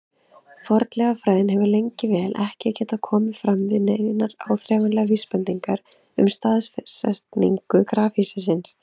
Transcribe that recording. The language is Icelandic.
Fornleifafræðin hefur lengi vel ekki getað komið fram með neinar áþreifanlegar vísbendingar um staðsetningu grafhýsisins.